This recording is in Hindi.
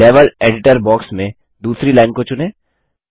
लेवल एडिटर बॉक्स में दूसरी लाइन को चुनें